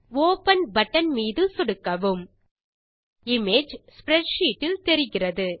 open button மீது சொடுக்கவும் image spreadsheet இல் தெரிகிறது